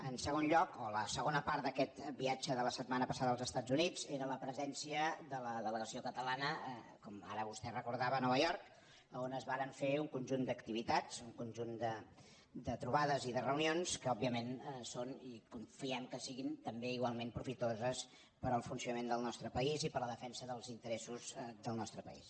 en segon lloc o la segona part d’aquest viatge de la setmana passada als estats units era la presència de la delegació catalana com ara vostè recordava a nova york a on es varen fer un conjunt d’activitats un conjunt de trobades i de reunions que òbviament són i confiem que siguin també igualment profitoses per al funcionament del nostre país i per a la defensa dels interessos del nostre país